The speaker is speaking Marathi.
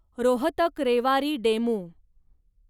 रोहतक रेवारी डेमू